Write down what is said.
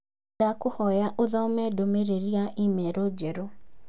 Ndakũhoya ũthome ndũmĩrĩri ya i-mīrū njerũ